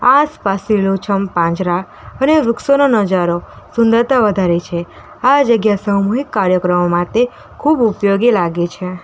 આસપાસ લીલોછમ પાંજરા અને વૃક્ષોનો નજારો સુંદરતા વધારે છે આ જગ્યા સામૂહિક કાર્યક્રમ માતે ખૂબ ઉપયોગી લાગે છે.